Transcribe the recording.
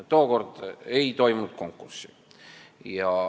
Tookord ei toimunud konkurssi.